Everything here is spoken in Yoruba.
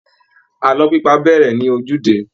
Àlọ́ pípa á bẹ̀rẹ̀ ní ojúde